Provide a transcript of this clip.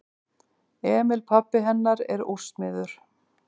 Emil pabbi hennar er úrsmiður.